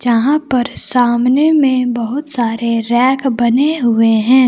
यहां पर सामने में बहुत सारे रैक बने हुए हैं।